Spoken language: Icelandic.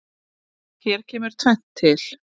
Hér kemur tvennt til.